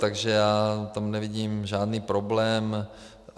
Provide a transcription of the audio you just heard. Takže já tam nevidím žádný problém.